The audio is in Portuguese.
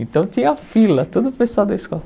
Então tinha fila, todo o pessoal da escola.